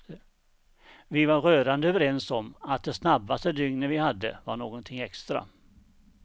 Vi var rörande överens om att de snabbaste dygnen vi hade var någonting extra.